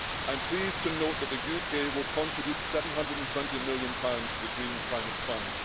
I am pleased to note that the UK will contribute GBP 720 million pounds to the Green Climate Fund.